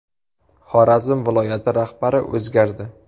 Xorazm viloyati rahbari o‘zgardi.